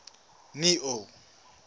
neo